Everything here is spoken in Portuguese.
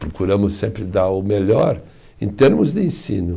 Procuramos sempre dar o melhor em termos de ensino.